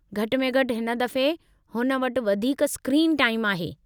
घटि में घटि हिन दफ़े हुन वटि वधीक स्क्रीन टाईम आहे।